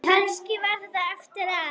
Kannski var það eftir að